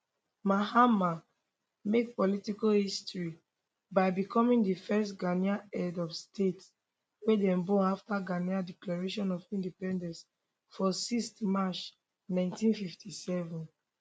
mahama make political history by becoming di first ghanaian head of state wey dem born afta ghana declaration of independence for 6th march 1957